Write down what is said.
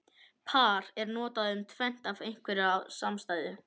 Par er notað um tvennt af einhverju samstæðu.